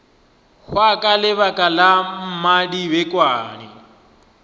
hwa ka lebaka la mmadibekwane